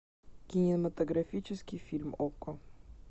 кинематографический фильм окко